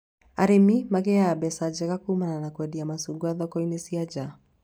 Arĩmi magĩaga mbeca njega kumana na kwendia macungwa thoko cia nja